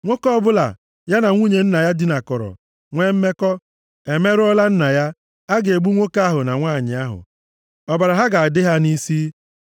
“ ‘Nwoke ọbụla ya na nwunye nna ya dinakọrọ nwe mmekọ, emerụọla nna ya. A ga-egbu nwoke ahụ na nwanyị ahụ. Ọbara ha ga-adị ha nʼisi.